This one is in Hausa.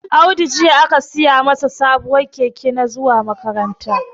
Audu jiya aka siyamin sabon keke na zuwa makaranta